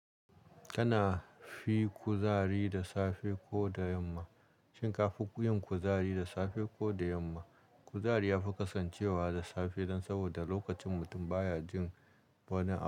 Ka na fi kuzari da safe ko da yamma? Shin kafi yin kuzari da safe ko da yamma? Kuzari ya fi kasancewa da safe dan saboda lokacin mutum baya jin wani abu.